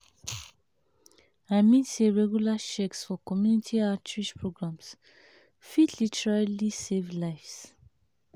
i mean say regular checks for community outreach programs fit literally save lives.